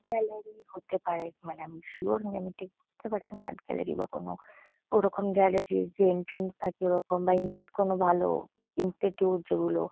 gallery হতে পারে মানে আমি সিওর না আমি ঠিক বুঝতে পারছি না আর্ট গ্যালারি বা কোনো ওরকম গ্যালারি -র যে এন্ট্রান্স থাকে ওরকম বা ইনস কোনো ভালো ইনস্টিটিউট যেগুলো --